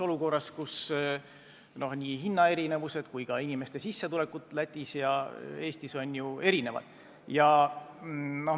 Olukorras, kus nii hinnad kui ka inimeste sissetulekud Lätis ja Eestis on erinevad, on see arusaamatu.